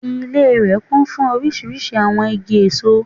Ilé rè kún fún orísirísi àwon igi èso